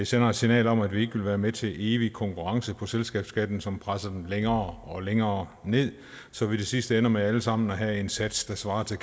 sender et signal om at vi vil være med til evig konkurrence på selskabsskatten som presser den længere og længere ned så vi til sidst ender med alle sammen at have en sats der svarer til